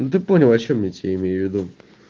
ну ты понял о чем я тебе имею в виду